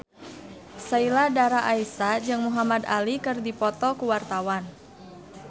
Sheila Dara Aisha jeung Muhamad Ali keur dipoto ku wartawan